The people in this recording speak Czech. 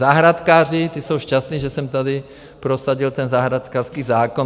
Zahrádkáři, ti jsou šťastní, že jsem tady prosadil ten zahrádkářský zákon.